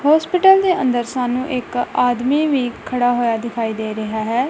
Hospital ਦੇ ਅੰਦਰ ਸਾਨੂੰ ਇੱਕ ਆਦਮੀ ਵੀ ਖੜਾ ਹੋਇਆ ਦਿਖਾਈ ਦੇ ਰਿਹਾ ਹੈ।